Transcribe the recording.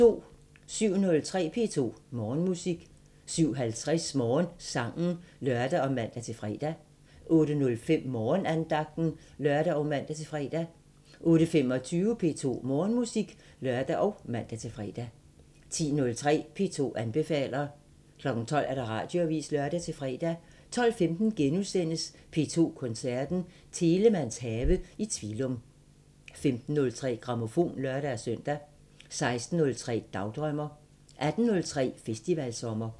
07:03: P2 Morgenmusik 07:50: Morgensangen (lør og man-fre) 08:05: Morgenandagten (lør og man-fre) 08:25: P2 Morgenmusik (lør og man-fre) 10:03: P2 anbefaler 12:00: Radioavisen (lør-fre) 12:15: P2 Koncerten – Telemanns have i Tvilum * 15:03: Grammofon (lør-søn) 16:03: Dagdrømmer 18:03: Festivalsommer